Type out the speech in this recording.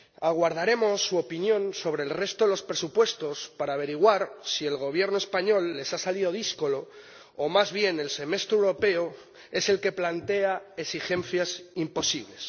Aguardaremos su opinión sobre el resto de los presupuestos para averiguar si el Gobierno español les ha salido díscolo o más bien el Semestre Europeo es el que plantea exigencias imposibles.